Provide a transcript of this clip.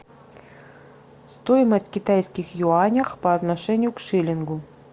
стоимость китайских юаней по отношению к шиллингу